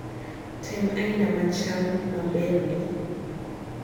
tem aina machal maberni